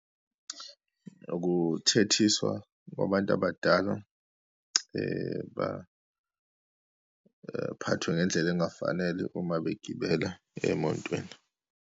Ukuthethiswa kwabantu abadala, baphathwe ngendlela engafanele uma begibela emontweni.